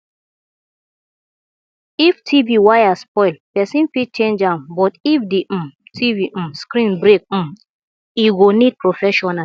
if tv wire spoil person fit change am but if di um tv um screen break um e go need professional